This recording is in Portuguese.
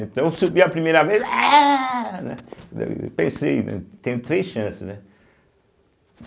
Então eu subi a primeira vez... aéh, né. Pensei, né, tenho três chances, né?